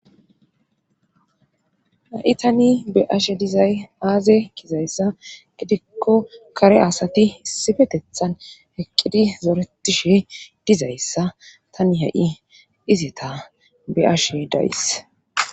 Ha7i tani be ashe dizay aaze kizayssa gidikko kare asati issifetethan heqqidi zoretishe dizayssa tani ha7i dizeta beashe dayys.